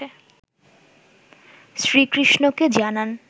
শ্রীকৃষ্ণকে জানান